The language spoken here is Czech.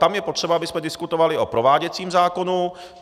Tam je potřeba, abychom diskutovali o prováděcím zákonu.